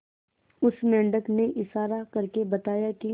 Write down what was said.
उस मेंढक ने इशारा करके बताया की